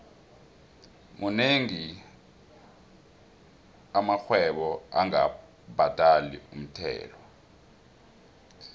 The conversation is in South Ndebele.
monengi amarhwebo angabhadali umthelo